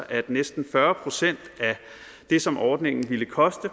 at næsten fyrre procent af det som ordningen ville koste